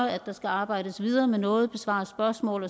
at der skal arbejdes videre med noget besvares spørgsmål